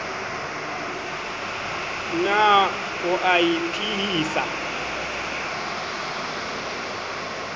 na o a e phehisa